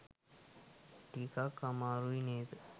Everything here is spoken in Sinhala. ටිකක් අමාරුයි නේද?